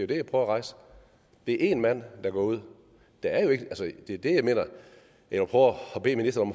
det jeg prøver at rejse det er én mand der går ud det er det jeg prøver at bede ministeren